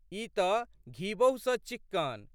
ई तऽ घीबहु सँ चिक्कन।